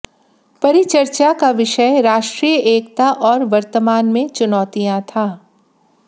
परिचर्चा का विषय राष्ट्रीय एकता और वर्तमान में चुनौतियां था